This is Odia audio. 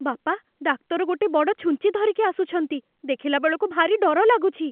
ବାପା, ଡାକ୍ତର ଗୋଟେ ବଡ଼ ଛୁଞ୍ଚି ଧରିକି ଆସୁଛନ୍ତି । ଦେଖିଲାବେଳକୁ, ଭାରି ଡର ଲାଗୁଛି ।